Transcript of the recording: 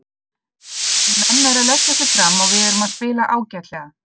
En menn eru að leggja sig fram og við erum að spila ágætlega.